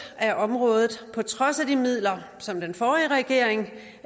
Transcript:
af området på trods af de midler som den forrige regering